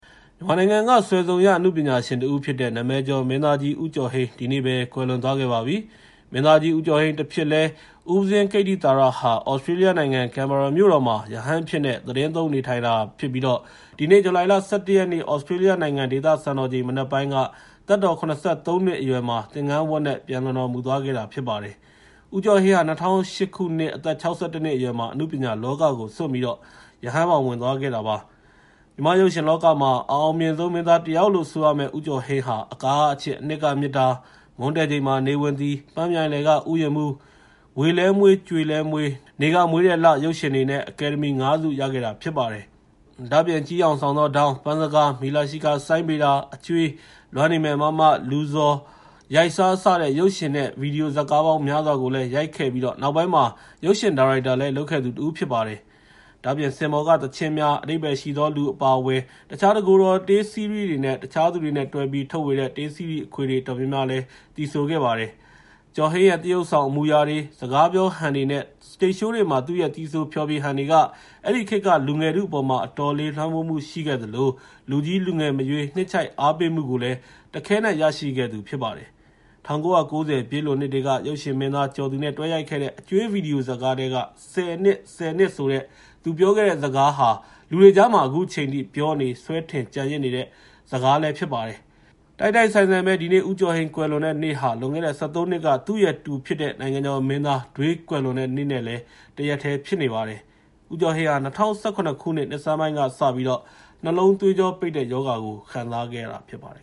မြန်မာနိုင်ငံက စွယ်စုံရ အနုပညာရှင်တဦးဖြစ်တဲ့ နာမည်ကျော်မင်းသားကြီး ဦးကျော်ဟိန်း ဒီနေ့ပဲ ကွယ်လွန်သွားပါပြီ။ မင်းသားကြီး ဦးကျော်ဟိန်းတဖြစ်လဲ ဦးပဉ္ဇင်း ဦးကိတ္တိသာရဟာ သြစတြေးလျနိုင်ငံ ကင်ဘာရာမြို့တော်မှာ ရဟန်းအဖြစ်နဲ့ သီတင်းသုံး နေထိုင်နေတာဖြစ်ပြီး ဒီနေ့ ဇူလိုင် ၁၁ ရက်နေ့ သြစတြေးလျနိုင်ငံ ဒေသစံတော်ချိန် မနက်ပိုင်းက သက်တော် ၇၃ နှစ်အရွယ်မှာ သင်္ကန်းဝတ်နဲ့ ပျံလွန်တော်မူသွားတာ ဖြစ်ပါတယ်။ ဦးကျော်ဟိန်းဟာ ၂၀၀၈ ခုနှစ် အသက် ၆၁ နှစ်အရွယ်မှာ အနုပညာလောကကို စွန့်ပြီး ရဟန်းဘောင် ဝင်သွားခဲ့တာပါ။ မြန်မာ့ရုပ်ရှင်လောကမှာ အအောင်မြင်ဆုံး မင်းသားတယောက်လို့ ဆိုရမယ့် ဦးကျော်ဟိန်းဟာ အကာကအချစ် အနှစ်ကမေတ္တာ၊ မွန်းတည့်ချိန်မှာ နေဝင်သည်၊ ပန်းမြိုင်လယ်က ဥယျာဉ်မှူး၊ ဝေလည်းမွှေး ကြွေလည်းမွှေး၊ နေကမွေးတဲ့လ ရုပ်ရှင်တွေနဲ့ အကယ်ဒမီ ၅ ဆု ရခဲ့တာဖြစ်ပါတယ်။ ကျီးယောင်ဆောင်သောဒေါင်း၊ ပန်းစကား၊ မီလာရှီကာ စိုင်းဗေဒါ၊ အကြွေး၊ လွမ်းနေမယ်မမ၊ လူဇော်၊ ရိုက်စား စတဲ့ ရုပ်ရှင်နဲ့ ဗွီဒီယိုဇာတ်ကားပေါင်း များစွာကို ရိုက်ခဲ့ပြီး နောက်ပိုင်းမှာ ရုပ်ရှင်ဒါရိုက်တာလည်း လုပ်ခဲ့သူတဦး ဖြစ်ပါတယ်။ ဒါ့အပြင် စင်ပေါ်ကသီချင်းများ၊ အဓိပ္ပာယ်ရှိသောလူ အပါအဝင် တခြား တကိုယ်တော်တေးစီးရီးတွေ၊ တခြားသူတွေနဲ့တွဲပြီး ထုတ်ဝေတဲ့ တေးစီးရီးခွေတွေ အတော်များများလည်း သီဆိုခဲ့ပါတယ်။ ကျော်ဟိန်းရဲ့ သရုပ်ဆောင် အမူအရာတွေ၊ စကားပြောဟန်တွေနဲ့ စတိတ်ရှိုးတွေမှာ သူ့ရဲ့ သီဆိုဖျော်ဖြေဟန်တွေဟာ အဲဒီခေတ်က လူငယ်ထုအပေါ် အတော်လေး လွှမ်းမိုးမှုရှိခဲ့သလို လူကြီးလူငယ်မရွေး နှစ်ခြိုက်အားပေးမှုကို တခဲနက် ရရှိခဲ့သူလည်း ဖြစ်ပါတယ်။ ၁၉၉၀ ပြည့်လွန်နှစ်တွေက ရုပ်ရှင်မင်းသား ကျော်သူနဲ့ တွဲရိုက်ခဲ့တဲ့ အကြွေး ဗွီဒီယိုဇတ်ကားထဲက “၁၀ နှစ်၊ ၁၀ နှစ်” ဆိုတဲ့ သူပြောခဲ့တဲ့စကားဟာ လူတွေကြားမှာ အခုချိန်ထိ ပြောနေ၊ စွဲထင်ကျန်ရစ်နေဆဲ စကားလည်း ဖြစ်ပါတယ်။ တိုက်တိုက်ဆိုင်ဆိုင်ပဲ ဒီနေ့ ဦးကျော်ဟိန်း ကွယ်လွန်တဲ့နေ့ဟာ လွန်ခဲ့တဲ့ ၁၃ နှစ်က သူ့ရဲ့တူဖြစ်တဲ့ နိုင်ငံကျော်မင်းသား ဒွေး ကွယ်လွန်တဲ့နေ့နဲ့လည်း တရက်တည်း ဖြစ်ပါတယ်။ ဦးကျော်ဟိန်းဟာ ၂၀၁၇ ခုနှစ် နှစ်ဆန်းပိုင်းကစပြီး နှလုံးသွေးကြောပိတ်တဲ့ရောဂါကို ခံစားနေခဲ့ရတာ ဖြစ်ပါတယ်